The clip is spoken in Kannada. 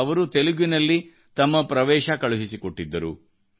ಅವರು ತೆಲುಗಿನಲ್ಲಿ ತಮ್ಮ ಎಂಟ್ರಿ ಕಳುಹಿಸಿ ಕೊಟ್ಟಿದ್ದರು